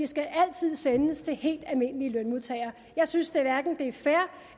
skal altid sendes til helt almindelige lønmodtagere jeg synes hverken det er fair